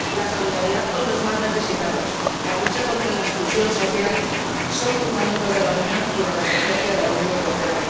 La solidaridad con los más necesitados y la lucha contra la exclusión social son fundamentos de la Unión y de la Estrategia Europa